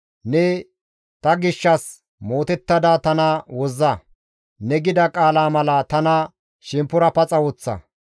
Ne ta gishshas mootettada tana wozza; ne gida qaala mala tana shemppora paxa woththa.